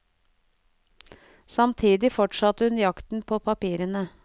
Samtidig fortsatte hun jakten på papirene.